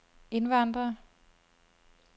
indvandrere